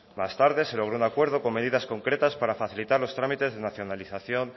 más tarde se logró un acuerdo con medidas concretas para facilitar los trámites de nacionalización